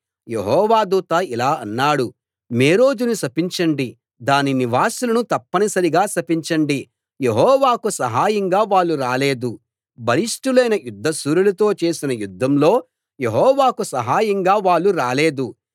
యెహోవా దూత ఇలా అన్నాడు మేరోజును శపించండి దాని నివాసులను తప్పనిసరిగా శపించండి యెహోవాకు సహాయంగా వాళ్ళు రాలేదు బలిష్ఠులైన యుద్ధశూరులతో చేసిన యుద్ధంలో యెహోవాకు సహాయంగా వాళ్ళు రాలేదు